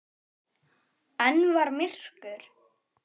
Enn var myrkur.